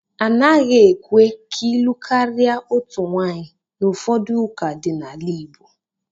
A naghị ekwe ka ịlụ karịa otu nwaanyị n'ụfọdụ ụka dị n'ala Igbo